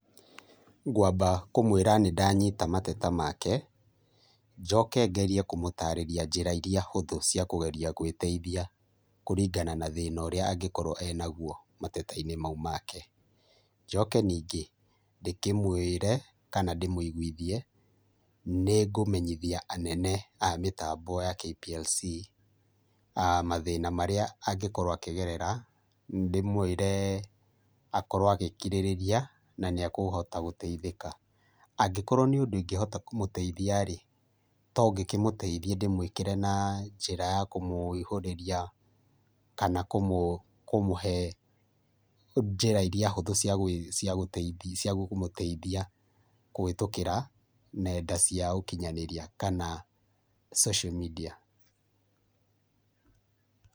Ngwamba kũmwĩra nĩndanyita mateta make njoke ngerie kũmũtarĩria njĩra iria hũthũ cia kũgeria gwĩteithia kũringana na thĩna ũrĩa angĩkorwo enagũo mateta-inĩ maũ make. Njoke ningĩ ndĩkĩmwĩre kana ndĩmũigũithie nĩngũmenyithia anene a mitambo ya KPLC a mathina marĩa angĩkorwo akĩgerera ndĩmwĩre akorwo agĩkirĩrĩria naniekuhota gũteithĩka. Angĩkorwo nĩ ũndũ ingĩhota kũmũteithia-rĩ tongĩkĩmũteithie ndĩmwĩkĩre na njĩra ya kũmũihũrĩria kana kũmũhe njĩra iria hũthũ cia kũmũteithia kũhĩtũkĩra nenda cia ũkinyanĩria kana social media.